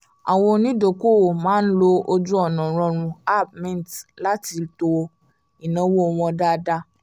àwọn onídokoowó máa ń lo ojú-ọ̀nà rọrùn app mint láti tọ́ ináwó wọn dáadáa